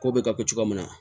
Ko bɛ ka ko cogoya min na